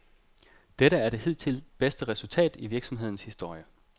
Dette er det hidtil bedste resultat i virksomhedens historie.